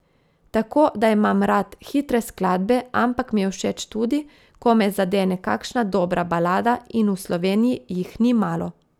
Tako da imam rad hitre skladbe, ampak mi je všeč tudi, ko me zadene kakšna dobra balada in v Sloveniji jih ni malo.